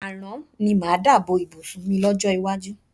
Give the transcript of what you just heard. Àrán ni mo máa dà bo ìbùsùn mi lọ́jọ́ iwájú.